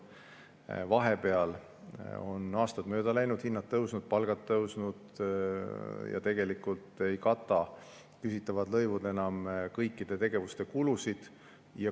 Vahepeal on aastaid mööda läinud, hinnad tõusnud, palgad tõusnud ja tegelikult ei kata küsitavad lõivud enam kõikide tegevuste kulusid.